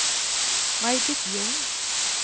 Maj-Britt Ljung